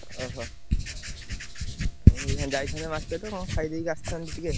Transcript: ଓହୋ! ଉଁ ଯାଇଥାନ୍ତେ market କଣ ଖାଇଦେଇକି ଆସିଥାନ୍ତେ ଟିକେ।